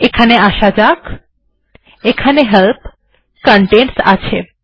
এখানে আসা যাক এখানে হেল্প কনটেন্টস আছে